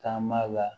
Taama la